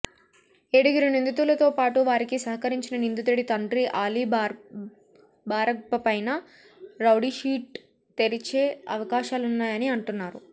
ఏడుగురు నిందితులతోపాటు వారికి సహకరించిన నిందితుడి తండ్రి ఆలీ బారక్బపైనా రౌడీషీట్ తెరిచే అవకాశాలున్నాయని అంటున్నారు